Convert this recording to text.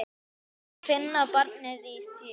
Að finna barnið í sér.